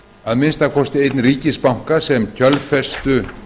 að minnsta kosti einn ríkisbanka sem kjölfestu